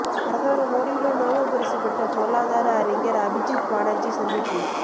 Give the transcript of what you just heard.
பிரதமர் மோடியுடன் நோபல் பரிசு பெற்ற பொருளாதார அறிஞர் அபிஜித் பானர்ஜி சந்திப்பு